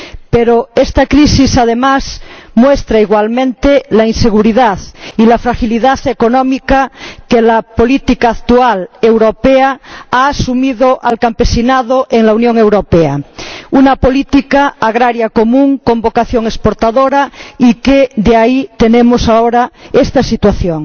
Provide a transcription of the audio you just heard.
Pero esta crisis, además, muestra igualmente la inseguridad y la fragilidad económica en que la política actual europea ha sumido al campesinado en la Unión Europea una política agraria común con vocación exportadora y de ahí tenemos ahora esta situación.